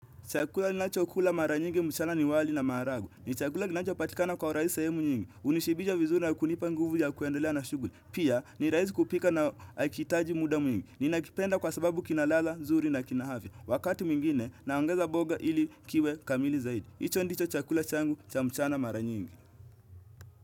Chakula ninachokula mara nyingi mchana ni wali na maharage. Ni chakula kinachopatikana kwa urahisi sehemu nyingi. Hunishibisha vizuri na kunipa nguvu ya kuendelea na shughuli. Pia ni raisi kupika na hakihitaji muda mwingi. Ninakipenda kwa sababu kina ladha nzuri na kina afya. Wakati mingine naongeza boga ili kiwe kamili zaidi. Hicho ndicho chakula changu cha mchana mara nyingi.